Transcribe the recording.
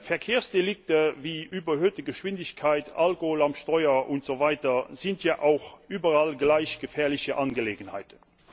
Verkehrsdelikte wie überhöhte Geschwindigkeit, Alkohol am Steuer und so weiter sind ja auch überall gleich gefährliche Angelegenheiten.